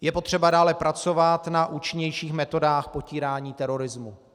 Je potřeba dále pracovat na účinnějších metodách potírání terorismu.